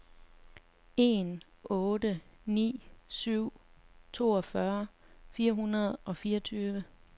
en otte ni syv toogfyrre fire hundrede og fireogtyve